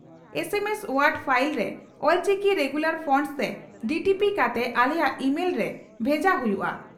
ᱮᱢ S word file ᱨᱮ Ol Chiki regular fonts ᱛᱮ DTP ᱠᱟᱛᱮ ᱟᱞᱮᱭᱟᱜ ᱤᱢᱮᱞᱛᱮ ᱵᱷᱮᱡᱟ ᱦᱩᱭᱩᱜᱼᱟ ᱾